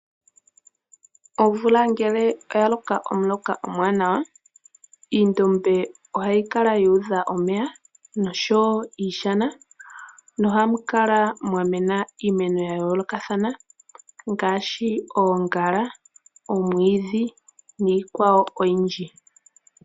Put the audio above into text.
Omvula ngelo oya loka omuloka omuwanawa , oondombe oha dhi kala dhuudha omeya noshowo iishana oha mu kala mwamena iimeno ya yoolokathana ngaashi oongala, omwiidhi niikwawo oyindji.